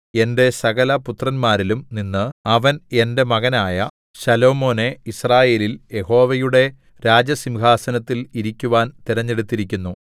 എന്റെ സകലപുത്രന്മാരിലും നിന്ന് യഹോവ എനിക്ക് വളരെ പുത്രന്മാരെ തന്നിരിക്കുന്നുവല്ലോ അവൻ എന്റെ മകനായ ശലോമോനെ യിസ്രായേലിൽ യഹോവയുടെ രാജസിംഹാസനത്തിൽ ഇരിക്കുവാൻ തിരഞ്ഞെടുത്തിരിക്കുന്നു